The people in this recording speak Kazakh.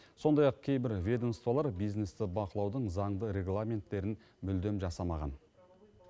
сондай ақ кейбір ведомстволар бизнесті бақылаудың заңды регламенттерін мүлдем жасамаған